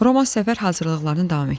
Romass səfər hazırlıqlarını davam etdirirdi.